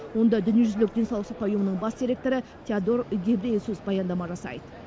онда дүниежүзілік денсаулық сақтау ұйымының бас директоры теодор гебрейесус баяндама жасайды